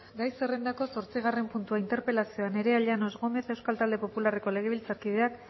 gai zerrendako zortzigarren puntua interpelazioa nerea llanos gómez euskal talde popularreko legebiltzarkideak